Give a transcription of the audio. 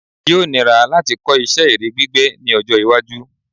Yóò níra láti kọ́ isẹ́ ère gbígbẹ́ ní ọjọ́-iwájú.